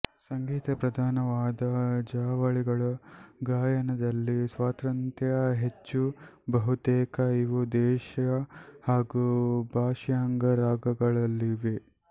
ಸಂಗೀತ ಪ್ರಧಾನವಾದ ಜಾವಳಿಗಳ ಗಾಯನದಲ್ಲಿ ಸ್ವಾತಂತ್ರ್ಯ ಹೆಚ್ಚು ಬಹುತೇಕ ಇವು ದೇಶ್ಯ ಹಾಗೂ ಭಾಷಾಂಗ ರಾಗಗಳಲ್ಲಿವೆ